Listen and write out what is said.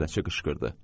Nəzarətçi qışqırdı.